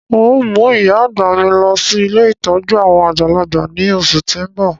N o mu ìyá-àgbà mi lọ si ilé ìtójú àwon àgbàlagbà ni oṣù ti n bọ.